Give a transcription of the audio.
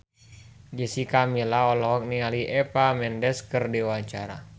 Jessica Milla olohok ningali Eva Mendes keur diwawancara